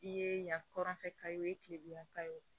I ye yan hɔrɔnfɛn ka ye o ye kilebi ka ye o